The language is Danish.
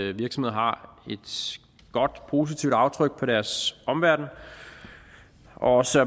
at virksomheder har et godt positivt aftryk på deres omverden og også